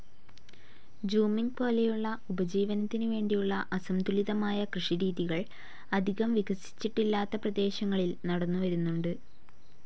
Zooming പോലെയുള്ള ഉപജീവനത്തിനു വേണ്ടിയുള്ള അസംതുലിതമായ കൃഷിരീതികൾ അധികം വികസിച്ചിട്ടില്ലാത്ത പ്രദേശങ്ങളിൽ നടന്നുവരുന്നുണ്ട്.